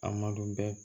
A ma dɔn bɛ